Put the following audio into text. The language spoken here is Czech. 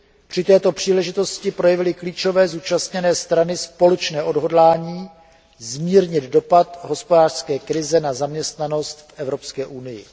Při této příležitosti projevily klíčové zúčastněné strany společné odhodlání zmírnit dopad hospodářské krize na zaměstnanost v Evropské unii.